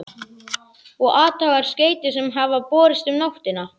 Og athugar skeytin sem hafa borist um nóttina?